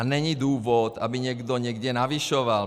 A není důvod, aby někdo někde navyšoval.